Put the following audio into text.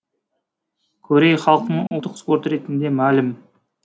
корей халқының ұлттық спорты ретінде мәлім